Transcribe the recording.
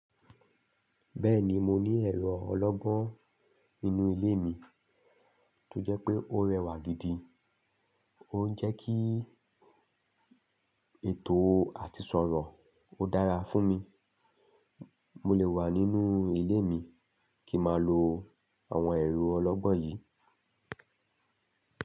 Bẹ́ẹ̀ni mo ní ẹ̀rọ ọlọ́gbọ́n nínú ilé mi, tó jẹ́ pé ó rẹwà gidi, ó ń jẹ́ kí ètò àti sọ̀rọ̀ ó dára fún mi, mo lè wà nínú ilé mi kí màa lo àwọn ẹ̀rọ ọlọ́gbọ́n yìí.